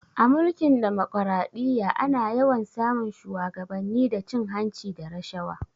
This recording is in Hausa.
A Mulkin demokaraɗiyya ana yawan sa mun shuwagabanni da cin hanci da rashawa